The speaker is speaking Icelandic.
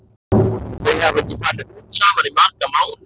Þau hafa ekki farið út saman í marga mánuði.